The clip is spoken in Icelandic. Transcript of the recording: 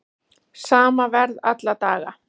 Sama verð alla daga